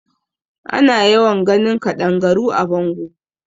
Ana yawan ganin kaɗangaru a bango.